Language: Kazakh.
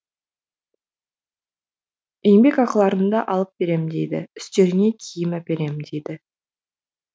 еңбек ақыларыңды алып берем дейді үстеріңе киім әперем дейді